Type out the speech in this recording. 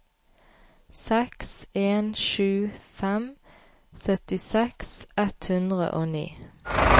seks en sju fem syttiseks ett hundre og ni